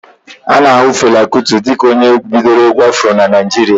A na ahu Fela Kuti dịka onye bidoro egwu Afro n'Naijiria